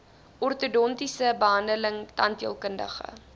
ortodontiese behandeling tandheelkundige